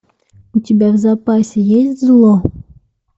у тебя в запасе есть зло